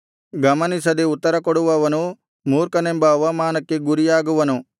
ಗಮನಿಸದೆ ಉತ್ತರಕೊಡುವವನು ಮೂರ್ಖನೆಂಬ ಅವಮಾನಕ್ಕೆ ಗುರಿಯಾಗುವನು